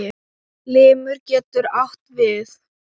Limur getur átt við